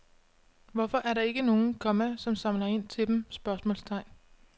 Hvorfor er der ikke nogen, komma som samler ind til dem? spørgsmålstegn